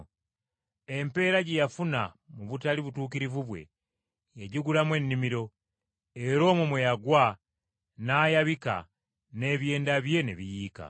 Empeera gye yafuna mu butali butuukirivu bwe, yagigulamu ennimiro, era omwo mwe yagwa n’ayabika n’ebyenda bye ne biyiika.